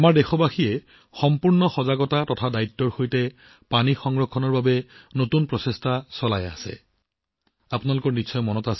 আমাৰ দেশবাসীয়ে সম্পূৰ্ণ সচেতনতা আৰু দায়িত্বশীলতাৰে জল সংৰক্ষণৰ বাবে নতুন প্ৰচেষ্টা হাতত লৈছে